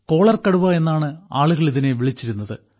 കോളർകടുവ എന്നാണ് ആളുകൾ ഇതിനെ വിളിച്ചിരുന്നത്